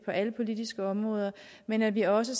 alle politiske områder men at vi også